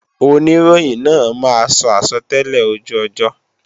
Oníròyìn náà máa sọ àsọtẹ́lẹ̀ ojú ọjọ́